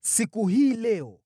Siku hii leo